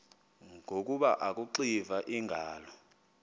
ngoku akuxiva iingalo